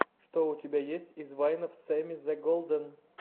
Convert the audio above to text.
что у тебя есть из вайнов сэмми зе голден